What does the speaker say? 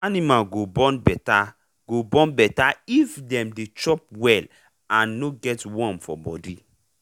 animal go born better go born better if dem dey chop well and no get worm for body.